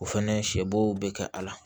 O fɛnɛ sɛ bo be kɛ a la